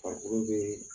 Farikolo bee